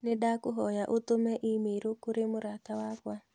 Nĩndakũhoya ũtũme i-mīrū kũrĩ mũrata wakwa.